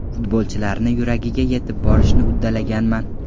Futbolchilarni yuragiga yetib borishni uddalaganman.